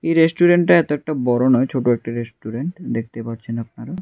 এই রেস্টুরেন্টটা এত একটা বড় নয় ছোট একটা রেস্টুরেন্ট দেখতে পারছেন আপনারা।